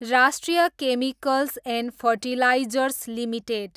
राष्ट्रिय chemicals and fertilizers limited